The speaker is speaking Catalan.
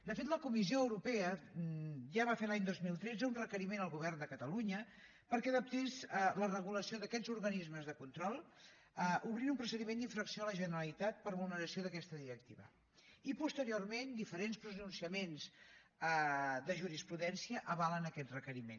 de fet la comissió europea ja va fer l’any dos mil tretze un requeriment al govern de catalunya perquè adaptés la regulació d’aquests organismes de control i va obrir un procediment d’infracció a la generalitat per vulneració d’aquesta directiva i posteriorment diferents pronunciaments de jurisprudència avalen aquest requeriment